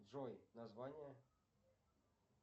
джой название